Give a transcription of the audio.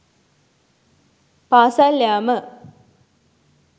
පාසල් යාම